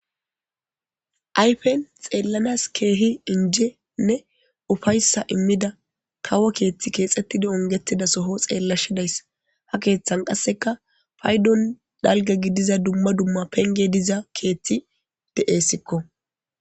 ayfen xeellanas keehi injenne ufayssa immida kawo keeththi keexettidi ongetida soho xeellashe dayss ha keeththan qasseka faydon dalga gidiza dumma dumma penge diza keeththi de7essikko